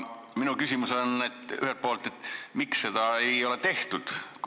Minu küsimus ühelt poolt on see, miks seda ei ole tehtud.